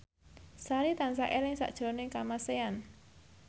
Sari tansah eling sakjroning Kamasean